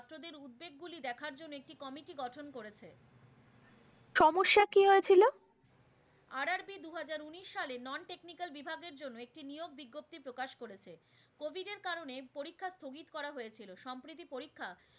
করেছে সমস্যা কি হয়েছিল? RRB দুই হাজার উনিশ সালের non technical বিভাগের জন্য একটি নিয়োগ বিজ্ঞপ্তি প্রকাশ করেছে। covid এর কারনে পরিক্ষা স্তগিত করা হয়েছিল। সম্প্রতি পরিক্ষা